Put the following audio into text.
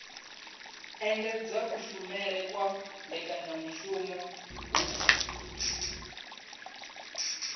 engedza kushumele kwa mbekanyamushumo hub